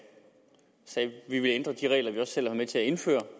vi ville ændre de regler vi selv havde været med til at indføre